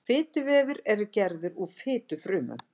Fituvefir eru gerðir úr fitufrumum.